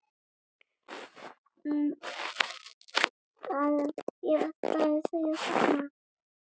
Senn heyrði